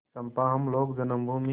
चंपा हम लोग जन्मभूमि